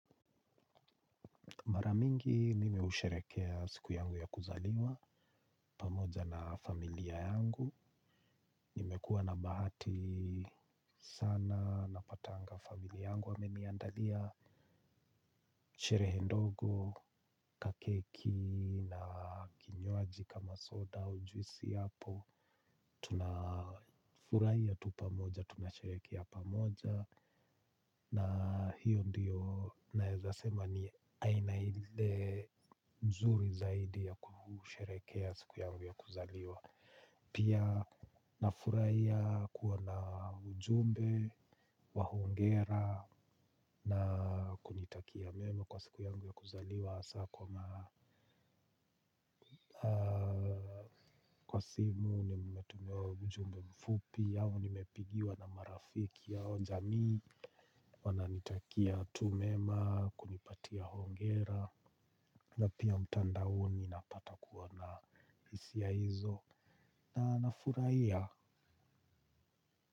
Mara mingi mimi usherehekea siku yangu ya kuzaliwa, pamoja na familia yangu. Nimekuwa na bahati sana, napatanga familia yangu wameniandalia, sherehe ndogo, keki na kinywaji kama soda, juisi ipo. Tunafurahi tu pamoja, tunasherehekea pamoja. Na hiyo ndiyo naweza sema ni aina nzuri zaidi ya kusherehekea siku yangu ya kuzaliwa. Pia nafurahia kuwa na ujumbe, wa hongera na kunitakia mema kwa siku yangu ya kuzaliwa. Kwa simu nimetumiwa ujumbe mfupi au nimepigiwa na marafiki au jamii. Wananitakia tu mema kunipa hongera. Na pia mtandaoni huwa napata kuona hisia hizo na nafurahia.